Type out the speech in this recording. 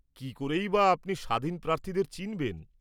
কী করেই বা আপনি স্বাধীন প্রার্থীদের চিনবেন?